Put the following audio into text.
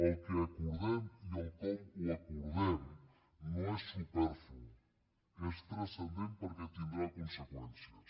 el que acordem i el com ho acordem no és superflu és transcendent perquè tindrà conseqüències